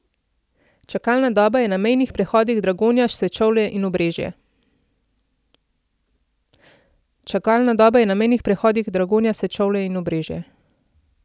Čakalna doba je na mejnih prehodih Dragonja, Sečovlje in Obrežje.